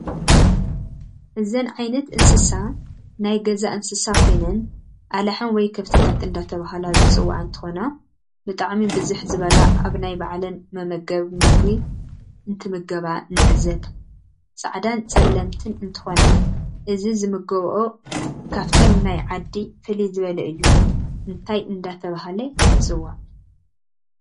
እዚን ኣይነት እንስሳ ናይ ገዛ ንስሳ ኮይነን ኣላሕም ወይ ክፍትታ እዳተበሃለ ዝፅዋዓ እንትኮና ብጣዓሚ ብዝ ዝበላ ኣብ ናይ በዕላን መመገብ ምግብ እንትምገበ ንዕዘብ ፃዕዳ ዐለምትን እንትኮና እዚ ዝምገበኦ ካፍተንናይ ዓዲ ፍልይ ዝበለ እዩ እንታይ እዳተበሃለይፅዋዕ?